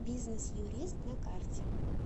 бизнес юрист на карте